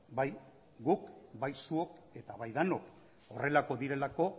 bai guk bai zuok eta bai denok horrelakoak direlako